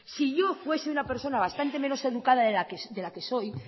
si yo fuese una personas bastante menos educada de la que soy